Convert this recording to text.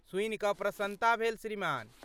सुनिकऽ प्रसन्नता भेल श्रीमान।